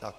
Tak.